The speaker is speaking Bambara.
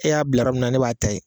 E y'a bila yɔrɔ min na ne b'a ta yen